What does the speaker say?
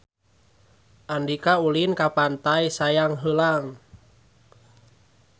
Andika ulin ka Pantai Sayang Heulang